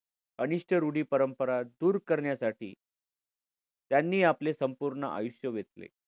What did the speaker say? अनिष्ट रूढी-परंपरा दूर करण्यासाठी त्यांनी आपले संपूर्ण आयुष्य वेचले.